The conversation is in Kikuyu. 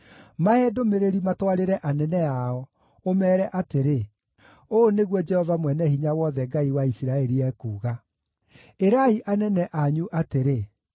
Mahe ndũmĩrĩri matwarĩre anene ao, ũmeere atĩrĩ, ‘Ũũ nĩguo Jehova Mwene-Hinya-Wothe, Ngai wa Isiraeli, ekuuga: “Ĩrai anene anyu atĩrĩ: